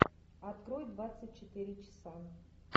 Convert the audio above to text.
открой двадцать четыре часа